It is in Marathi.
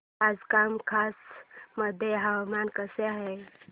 आज कामाख्या मध्ये हवामान कसे आहे